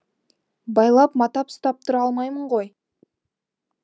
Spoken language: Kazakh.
байлап матап ұстап тұра алмаймын ғой